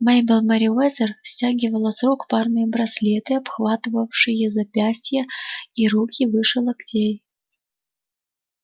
мейбелл мерриуэзер стягивала с рук парные браслеты обхватывавшие запястья и руки выше локтей